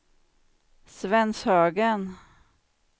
Svenshögen